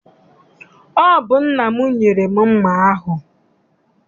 Ọ bụ nna m nyere m mma ahụ.